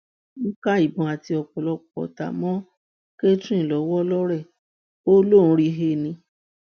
wọn ká ìbọn àti ọpọlọpọ ọtá mọ catherine lọwọ lọrẹ ó lóun rí i he ni